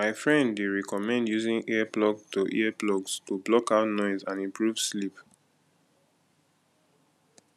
my friend dey recommend using earplugs to earplugs to block out noise and improve sleep